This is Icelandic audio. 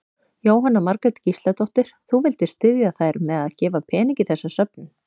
Jóhanna Margrét Gísladóttir: Þú vildir styðja þær með að gefa pening í þessa söfnun?